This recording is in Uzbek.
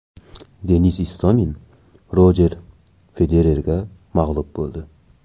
Denis Istomin Rojer Federerga mag‘lub bo‘ldi.